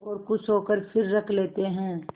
और खुश होकर फिर रख लेते हैं